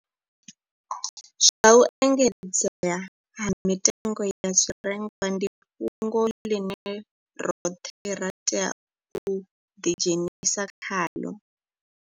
Zwa u engedzea ha mitengo ya zwirengwa ndi fhungo ḽine roṱhe ra tea u ḓidzhenisa khaḽo.